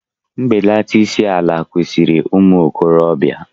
Mbelata isi ala kwesịrị ụmụ okorobịa.